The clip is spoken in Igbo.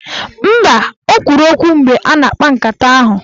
Mba, o kwuru okwu mgbe a na-akpa nkata ahụ.